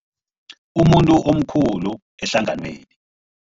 Umuntu omkhulu ehlanganweni.